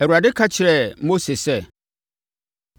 Awurade ka kyerɛɛ Mose sɛ,